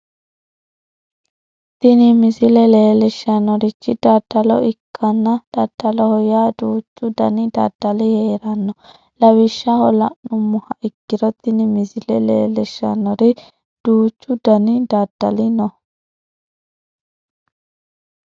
tini misile leellishshannorichi daddalo ikkanna daddaloho yaa duuchu dani daddali heeranno lawishshaho la'nummoha ikkiro tini misile leellishshannori duuchu dani daddali no.